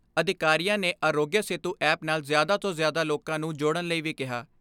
ਅਧਿਕਾਰੀਆਂ ਨੇ ਆਰੋਗਿਆ ਸੇਤੂ ਐਪ ਨਾਲ ਜ਼ਿਆਦਾ ਤੋਂ ਜ਼ਿਆਦਾ ਲੋਕਾਂ ਨੂੰ ਜੋੜਣ ਲਈ ਵੀ ਕਿਹਾ।